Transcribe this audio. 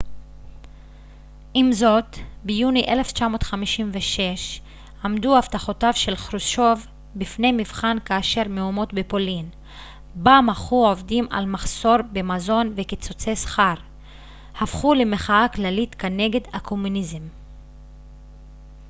עם זאת ביוני 1956 עמדו הבטחותיו של חרושצ'וב בפני מבחן כאשר מהומות בפולין בה מחו עובדים על מחסור במזון וקיצוצי שכר הפכו למחאה כללית כנגד הקומוניזם